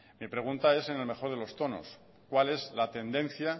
mi pregunta es en el mejor de los tonos cuál es la tendencia